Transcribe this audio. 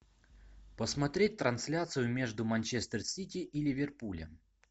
посмотреть трансляцию между манчестер сити и ливерпулем